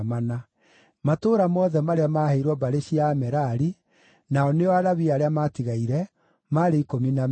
Matũũra mothe marĩa maaheirwo mbarĩ cia Amerari, nao nĩo Alawii arĩa maatigaire, maarĩ ikũmi na meerĩ.